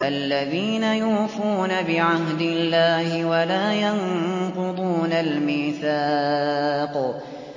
الَّذِينَ يُوفُونَ بِعَهْدِ اللَّهِ وَلَا يَنقُضُونَ الْمِيثَاقَ